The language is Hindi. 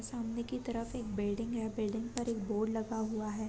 सामने की तरफ एक बिल्डिंग है बिल्डिंग पर एक बोर्ड लगा हुआ है।